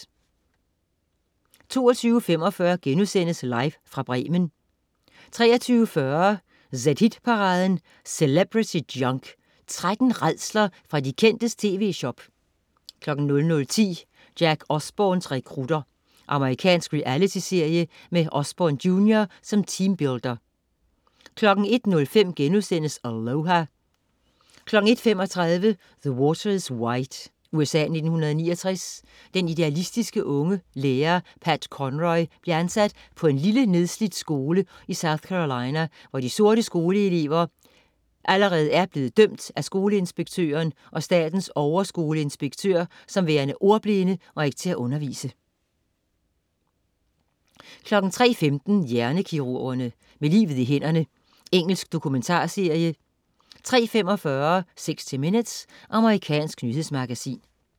22.45 Live fra Bremen* 23.40 zHit-paraden: Celebrity Junk. 13 rædsler fra de kendtes tv-shop 00.10 Jack Osbournes rekrutter. Amerikansk reality-serie med Osbourne jr. som teambuilder 01.05 Aloha!* 01.35 The Water is Wide. USA, 1969. Den idealistiske, unge lærer, Pat Conroy, bliver ansat på en lille, nedslidt skole i South Carolina, hvor de sorte skoleelever allerede er blevet dømt af skoleinspektøren og statens overskoleinspektør, som værende ordblinde og ikke til at undervise 03.15 Hjernekirurgerne. Med livet i hænderne. Engelsk dokumentarserie 03.45 60 Minutes. Amerikansk nyhedsmagasin